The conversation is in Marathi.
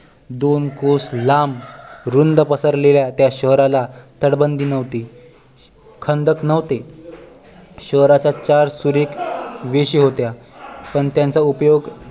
दोन कोस लांब रुंद पसरलेल्या त्या शहराला तटबंदी नव्हती खंदक नव्हते शहराच्या चार सुरेख वेशी होत्या पण त्यांचा उपयोग